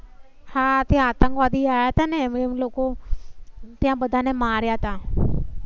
હા ત્યા આતંકવાદી આયા થા એમ લોકો ત્યાં બધા ને માર્યા હતા.